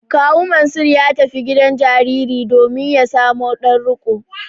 Kawu Mansur ya tafi gidan jarirai domin ya samo ɗan riƙo.